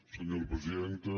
senyora presidenta